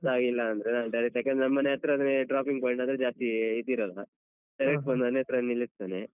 ಗೊತ್ತಾಗಿಲ್ಲ ಅಂದ್ರೆ ನಾನ್ direct ಆಗಿ ಯಾಕಂದ್ರೆ ನಮ್ ಮನೆ ಹತ್ರ ಆದ್ರೆ dropping point ಅಂದ್ರೆ ಜಾಸ್ತಿ ಇದಿರಲ್ಲ. ಮನೆ ಹತ್ರ ನಿಲ್ಸ್ತಾನೇ.